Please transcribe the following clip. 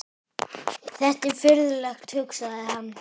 Þetta er furðulegt, hugsaði hann.